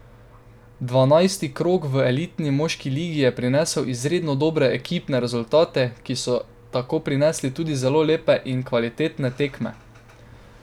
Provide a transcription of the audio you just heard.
Dvanajsti krog v elitni moški ligi je prinesel izredno dobre ekipne rezultate, ki so tako prinesli tudi zelo lepe in kvalitetne tekme.